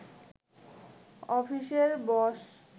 অফিসের বস